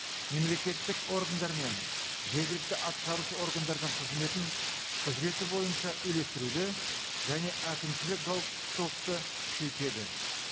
мемлекеттік органдар мен жергілікті атқарушы органдардың қызметін құзыреті бойынша үйлестіруді және әкімшілік жауаптылықты күшейтеді